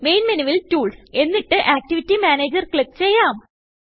main menuവിൽ tools എന്നിട്ട് activity Managerക്ലിക്ക് ചെയ്യാം